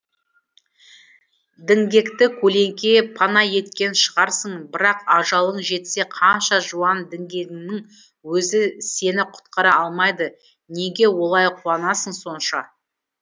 діңгекті көлеңке пана еткен шығарсың бірақ ажалың жетсе қанша жуан діңгегіңнің өзі сені құтқара алмайды неге олай қуанасың сонша